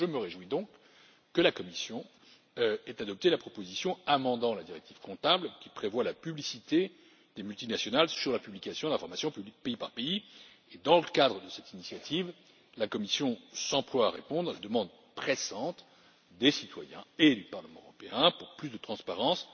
Je me réjouis donc que la Commission ait adopté la proposition amendant la directive comptable qui prévoit la publicité des activités des multinationales, la publication d'informations pays par pays, et dans le cadre de cette initiative, la Commission s'emploie à répondre à la demande pressante des citoyens et du Parlement européen pour plus de transparence,